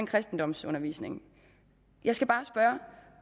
kristendomsundervisning jeg skal bare spørge